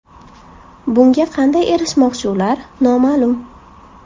Bunga qanday erishmoqchi ular, noma’lum.